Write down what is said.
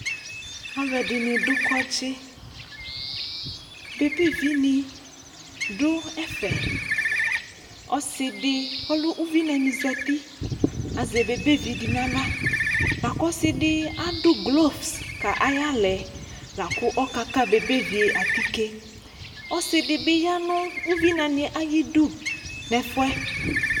Alʋɛdini dʋ kɔdzi Bebevi ni dʋ ɛfɛ Ɔsi di ɔlɛ ʋvinani zati Azɛ bebevi di n'aɣla Lakʋ ɔsi di adʋ glovu kʋ ayaɣla ɛ, la kʋ ɔkaka bebevi yɛ atike Ɔsi di bi yanʋ uvinani ɛ ayidu nʋ ɛfuɛ